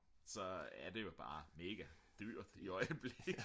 så er det jo bare mega dyrt i øjeblikket